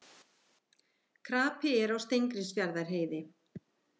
Krapi er á Steingrímsfjarðarheiði